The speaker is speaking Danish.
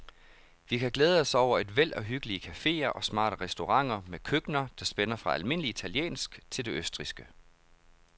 Vi kan glæde os over et væld af hyggelige caféer og smarte restauranter med køkkener, der spænder fra almindelig italiensk til det østrigske.